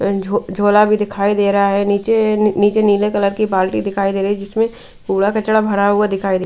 झोला भी दिखाई दे रहा है नीचे नीचे नीले कलर की बाल्टी दिखाई दे रही है जिसमें पूरा कचड़ा भरा हुआ दिखाई दे--